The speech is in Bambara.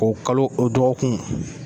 O kalo o dɔgɔkun.